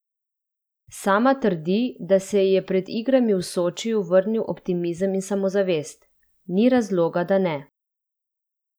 Sama trdi, da se ji je pred igrami v Sočiju vrnil optimizem in samozavest: "Ni razloga, da ne.